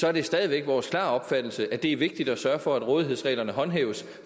er det stadig væk vores klare opfattelse at det er vigtigt at sørge for at rådighedsreglerne håndhæves